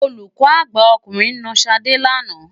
Olùkọ́ àgbà ọkùnrin na Ṣadé lánàá.